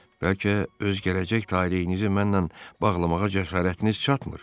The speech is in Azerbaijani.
Bəlkə öz gələcək taleyinizi mənnən bağlamağa cəsarətiniz çatmır?